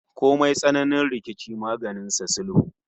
Komai tsananin rikici maganin sa sulhu